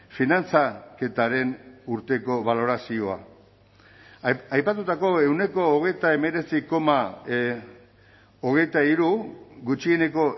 finantzaketaren urteko balorazioa aipatutako ehuneko hogeita hemeretzi koma hogeita hiru gutxieneko